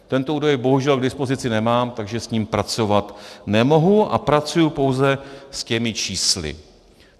Tento údaj bohužel k dispozici nemám, takže s ním pracovat nemohu a pracuji pouze s těmi čísly.